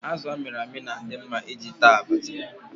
Azụ amịrị amị na-adị mma iji taa abacha.